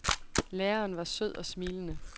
Læreren var sød og smilende.